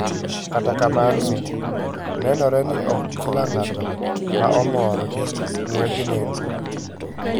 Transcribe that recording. katakamano, nenore ni ok kilangato maomorr gi ngwej nendro.